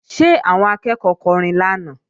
Ṣé àwọn akẹ́ẹ̀kọ́ kọrin lánàá?